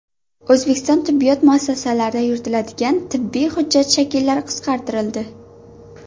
O‘zbekiston tibbiyot muassasalarida yuritiladigan tibbiy hujjat shakllari qisqartirildi.